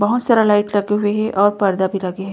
बहोत सारा लाइट लगा हे और पर्दा भी लगे हें।